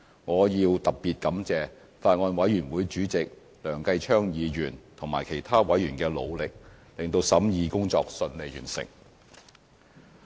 我要特別感謝法案委員會主席梁繼昌議員及其他委員的努力，令審議工作順利完成。